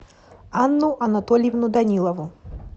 анну анатольевну данилову